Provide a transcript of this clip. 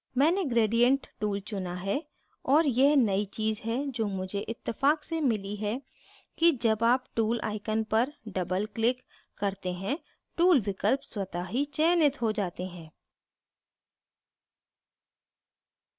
मैंने gradient tool चुना है और यह नयी चीज़ है जो मुझे इत्तफ़ाक से मिली है कि जब आप tool icon पर double click करते हैं tool विकल्प स्वतः ही चयनित हो जाते हैं